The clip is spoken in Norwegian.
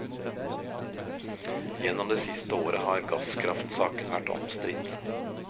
Gjennom det siste året har gasskraftsaken vært omstridt.